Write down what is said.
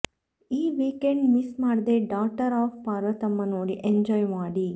ಈ weekend miss ಮಾಡ್ದೆ daughter of Parvathamma ನೋಡಿ ಎಂಜಾಯ್ ಮಾಡಿ